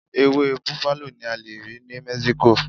Ewé bufalo ni a lè rí ní Mexico.